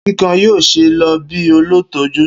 Kikan yoo ṣee lo bi olutọju.